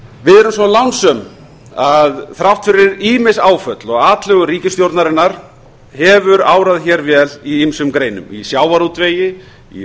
við erum svo lánsöm að þrátt fyrir ýmis áföll og atlögu ríkisstjórnarinnar hefur árað vel í ýmsum greinum í sjávarútvegi í